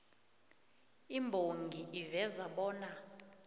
imbongi iveza bona